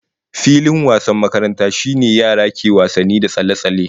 Filin wasan makaranta shine yara ke wasanni da tsalle-tsalle